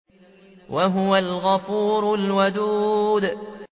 وَهُوَ الْغَفُورُ الْوَدُودُ